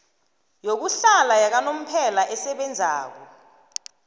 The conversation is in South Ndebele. yokuhlala yakanomphela esebenzako